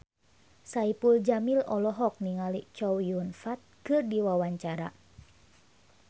Saipul Jamil olohok ningali Chow Yun Fat keur diwawancara